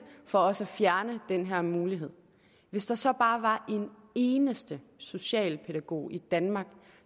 for også at fjerne den her mulighed hvis der så bare var en eneste socialpædagog i danmark